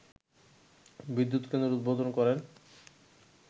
বিদ্যুৎ কেন্দ্রের উদ্বোধন করেন